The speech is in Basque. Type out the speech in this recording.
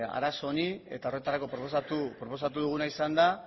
arazo honi eta horretarako proposatu proposatu duguna izan da